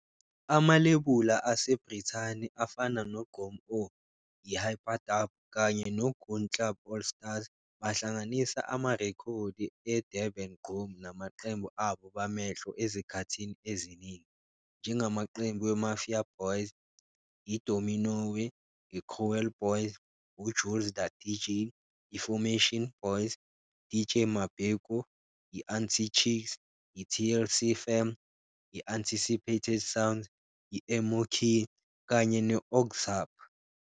Amalebula aseBrithani afana no-Gqom Oh!, i-Hyperdub, kanye no-Goon Club All Stars, bahlanganisa amarekhodi a-Durban gqom namaqembu abo bamehlo ezikhathini eziningi, njengamaqembu we-Mafia Boyz, i-Dominowe, i-Cruel Boyz, uJulz Da Deejay, i-Formation Boyz, DJ Mabheko, i-Untichicks, i-TLC Fam, i-Unticipated Soundz, i-Emo Kid, kanye no-Okzharp.